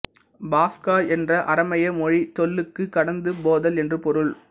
பாஸ்கா என்ற அரமேய மொழிச் சொல்லுக்கு கடந்து போதல் என்று பொருள்